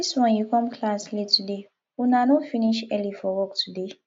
dis wan you come class late today una no finish early for work today